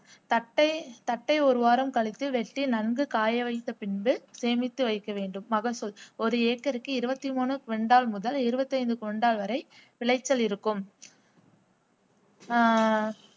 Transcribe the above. தட்டை தட்டை ஒரு வாரம் கழித்து வெட்டி நன்கு காயவைத்த பின்பு சேமித்து வைக்க வேண்டும் ஒரு ஏக்கருக்கு இருபத்தி மூன்று கொண்டால் முதல் இருபத்தி ஐந்து கொண்டால் வரை விளைச்சல் இருக்கும் ஆஹ்